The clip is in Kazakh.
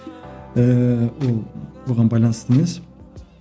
ііі ол бұған байланысты емес